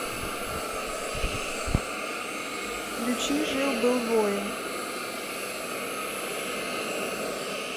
включи жил был воин